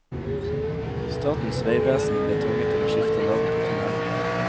Statens vegvesen ble tvunget til å skifte navn på tunnelen.